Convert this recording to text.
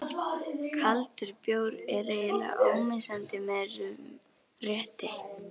Kaldur bjór er eiginlega ómissandi með þessum rétti.